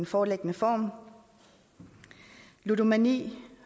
foreliggende form ludomani